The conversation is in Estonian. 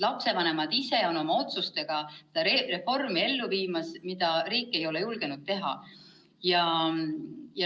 Lapsevanemad ise on oma otsustega ellu viimas reformi, mida riik ei ole julgenud teha.